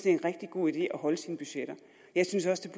er en rigtig god idé at holde sine budgetter jeg synes også